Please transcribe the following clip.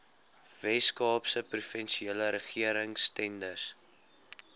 weskaapse provinsiale regeringstenders